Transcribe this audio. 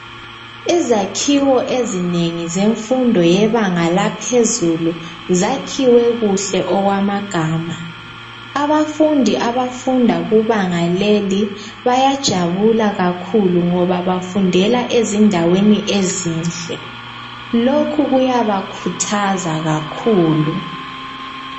izakhiwo ezinengi zemfundo yebanga laphezulu zakhiwe kuhle okwamagama abafundi abafunda kubanga leli bayajabula kakhulu ngoba bafundela endaweni ezinhle lokhu kuyabakhuthaza kakhulu.